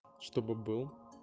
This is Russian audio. чтобы был